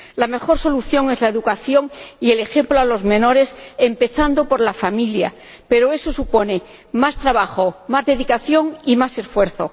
La mejor solución es la educación y el ejemplo a los menores empezando por la familia, pero eso supone más trabajo, más dedicación y más esfuerzo.